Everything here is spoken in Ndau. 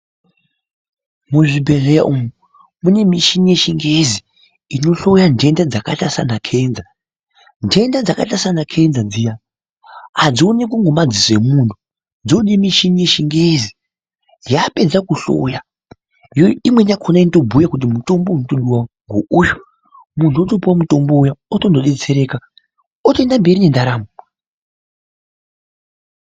Muzvibhedlera umu, munemishini yechingezi inohloya ntenda dzakaita sana cancer ,ntenda dzakaita sana cancer dziya hadziwoneki ngemaziso emunhu dzinode nemishini yechingezi ,yapedza kuhloya imweni yakona yotobhuya kuti mitombo ndeuyu, munhu wotopuwe mutombo uya wotonodetsereka otoenda mberi nentaramo.